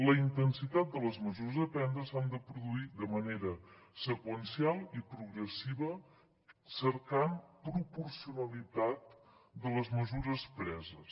la intensitat de les mesures a prendre s’ha de produir de manera seqüencial i progressiva cercant proporcionalitat de les mesures preses